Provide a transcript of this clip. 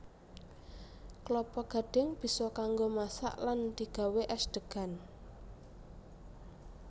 Klapa gadhing bisa kanggo masak lan digawé és degan